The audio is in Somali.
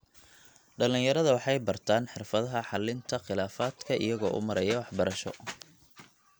Dhallinyarada waxay bartaan xirfadaha xallinta khilaafaadka iyagoo u maraya waxbarasho.